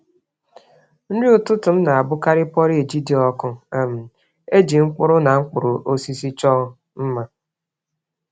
Nri ụtụtụ m na-abụkarị porridge dị ọkụ um e ji mkpụrụ na mkpụrụ osisi chọọ mma.